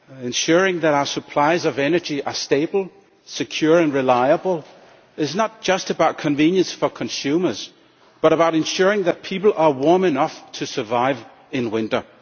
Ensuring that our supplies of energy are stable, secure and reliable is not just about convenience for consumers but also about ensuring that people are warm enough to survive in winter.